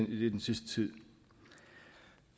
i den sidste tid